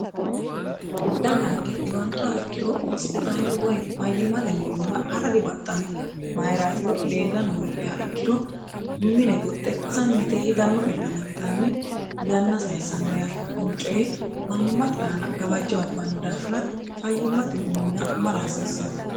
daganke dhiwantoha ikkiro hosphitaale woy fayyimmate minniwa ha'ra dibaxxanno mayiraatiro leella noogia ikkiro mine goxxe sammite higanno illana yitanni yanna sayissanno yata kuni coyi manni maxi aana gabajjo abbaanno daafira fayyimmate minna mara hasiissanno